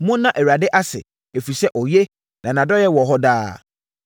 Monna Awurade ase, ɛfiri sɛ ɔyɛ na nʼadɔeɛ wɔ hɔ daa.